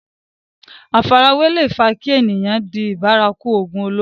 àfarawé leè fa kí èèyàn di bárakú ògùn olóró